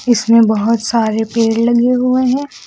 इसमें बहोत सारे पेड़ लगे हुए है।